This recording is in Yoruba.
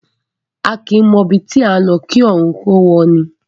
A kìí mọ ibi tí à ńlọ kí ọrùn ó wọ’ni.